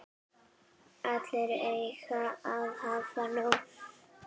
Allir eiga að hafa nóg.